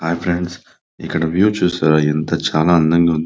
హాయి friends ఇక్కడ view చూశారా ఎంత చానా అందంగా --